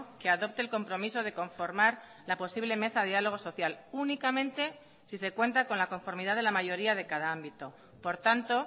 que adopte el compromiso de conformar la posible mesa de diálogo social únicamente si se cuenta con la conformidad de la mayoría de cada ámbito por tanto